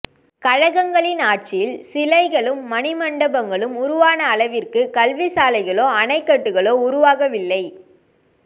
கழகங்களின் ஆட்சியில் சிலைகளும் மணிமண்டபங்களும் உருவான அளவிற்கு கல்விசாலைகளோ அணைக்கட்டுகளோ உருவாக வில்லை